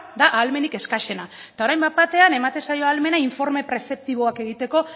da ahalmenik exkaxena eta orain bat batean ematen zaio ahalmena informe prezeptiboak egiteko